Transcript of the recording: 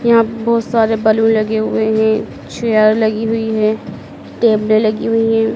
यहां पे बहुत सारे बलून लगे हुए हैं चेयर लगी हुई है टेबले लगी हुई हैं।